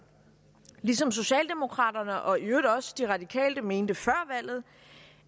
ligesom socialdemokraterne og i øvrigt også de radikale mente før valget